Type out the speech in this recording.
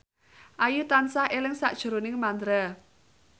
Ayu tansah eling sakjroning Mandra